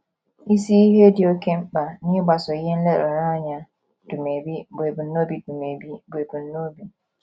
Isi ihe dị oké mkpa n’ịgbaso ihe nlereanya Dumebi bụ ebumnobi Dumebi bụ ebumnobi.